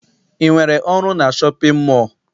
I nwetere ọrụ na shọpịn mọọ?